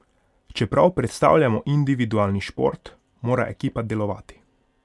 Čeprav predstavljamo individualni šport, mora ekipa delovati.